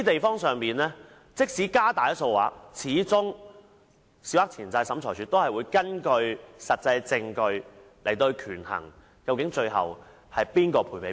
因此，即使限額有所提高，但審裁處始終會根據實質證據，權衡誰要向誰作出賠償。